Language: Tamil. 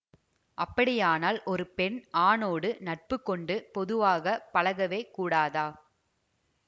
அப்படியானால் ஒரு பெண் ஆணோடு நட்புக்கொண்டு பொதுவாக பழகவே கூடாதா